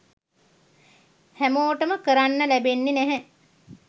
හැමෝටම කරන්න ලැබෙන්නෙ නැහැ.